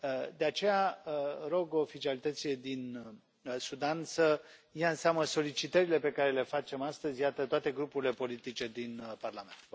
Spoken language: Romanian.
De aceea, rog oficialitățile din Sudan să ia în seamă solicitările pe care le facem astăzi, iată, toate grupurile politice din Parlament.